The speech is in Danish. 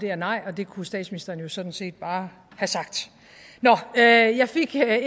det er nej og det kunne statsministeren jo sådan set bare have sagt nå jeg fik